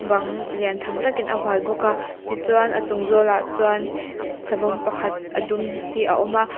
bang lian tham takin a hual bawk a tichuan a chung zawlah chuan savawm pakhat a dum hi a awm bawk a.